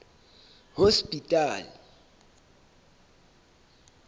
hospital